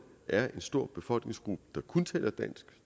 er en stor befolkningsgruppe der kun taler dansk